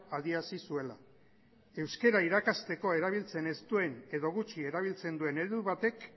adierazi zuela euskara irakasteko erabiltzen ez duen edo gutxi erabiltzen duen heldu batek